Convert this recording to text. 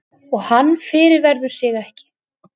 Og hann fyrirverður sig ekki.